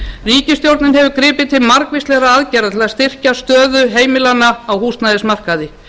ríkisstjórnin hefur gripið til margvíslegra aðgerða til að styrkja stöðu heimilanna á húsnæðismarkaði